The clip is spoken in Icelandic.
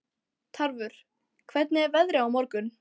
Tarfur, hvernig er veðrið á morgun?